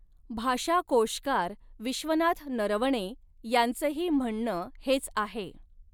भाषाकोषकार विश्वनाथ नरवणे यांचही म्हणण हेच आहे.